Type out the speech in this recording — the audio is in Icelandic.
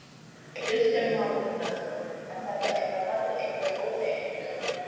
Kristján Már Unnarsson: En þetta er að valda ykkur óþægindum?